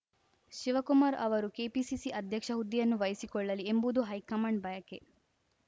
ಶಿವಕುಮಾರ್‌ ಅವರು ಕೆಪಿಸಿಸಿ ಅಧ್ಯಕ್ಷ ಹುದ್ದೆಯನ್ನು ವಹಿಸಿಕೊಳ್ಳಲಿ ಎಂಬುದು ಹೈಕಮಾಂಡ್‌ ಬಯಕೆ